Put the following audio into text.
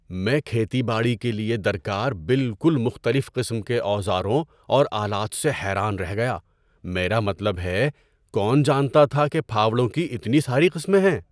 میں کھیتی باڑی کے لیے درکار بالکل مختلف قسم کے اوزاروں اور آلات سے حیران رہ گیا۔ میرا مطلب ہے، کون جانتا تھا کہ پھاوڑوں کی اتنی ساری قسمیں ہیں؟